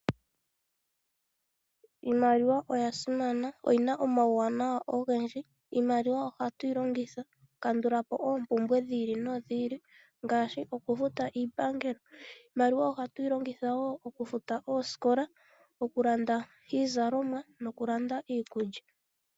Iimaliwa oya simana. Oyi na omauwanawa ogendji. Iimaliwa ohatu yi longitha okukandula po oompumbwe dhi ili nodhi ili ngaashi okufuta iipangelo. Iimaliwa ohatu yi longitha wo okufuta oosikola, okulanda iizalomwa nokulanda iikulya.